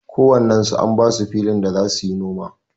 Ko wannen su an basu filin da za suyi noma.